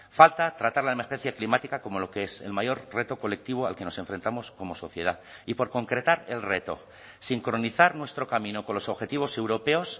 falta tratar la emergencia climática como lo que es el mayor reto colectivo al que nos enfrentamos como sociedad y por concretar el reto sincronizar nuestro camino con los objetivos europeos